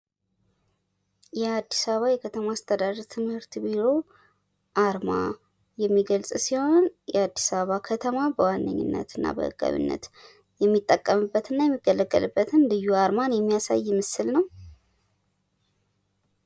የአዲስ አበባ ከተማ አስተዳደር ትምህርት ቢሮ አርማ የሚገክጽ ሲሆን የአዲስ አበባ ከተማ በዋነኝነት እና በህጋዊነት የሚጠቀምበት እና የሚገለገልበትን ልዩ አርማን የሚያሳይ ምስል ነው።